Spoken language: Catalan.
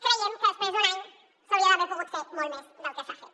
creiem que després d’un any s’hauria d’haver pogut fer molt més del que s’ha fet